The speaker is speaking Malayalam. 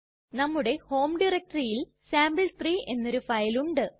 നമ്മുടെ ഹോം ഡയറക്ടറിയിൽ സാംപിൾ3 എന്നൊരു ഫയലുണ്ട്